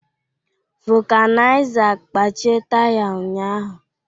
Vulcanizer kpachie taya ụnyahụ